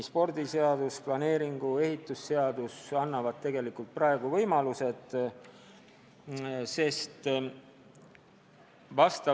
Spordiseadus, planeerimis- ja ehitusseadus annavad tegelikult praegugi võimalused kord tagada.